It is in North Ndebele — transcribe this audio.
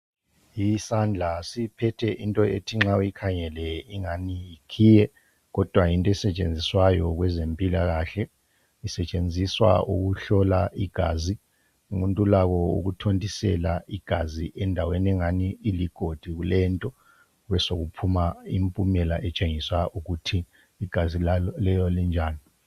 Isandla siphethe into ethi nxa uyikhangele ingani yikhiye, kodwa yinto esetshenziswayo kwezempilakahle. Isetshenziswa ukuhlola igazi. Umuntu ulakho ukuthontisela igazi endaweni engathi iligodi kulento besokuphuma impumela etshengisa ukuthi igazi lelo linjani.